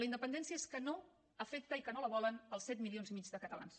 la independència és que no afecta i que no la volen els set milions i mig de catalans